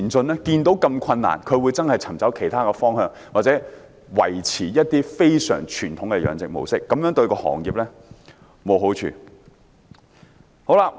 看到這麼困難，他們真的會尋找其他方向，或者維持一些非常傳統的養殖模式，但這樣對行業是沒有好處的。